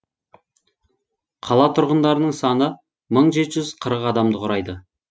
қала тұрғындарының саны мың жеті жүз қырық адамды құрайды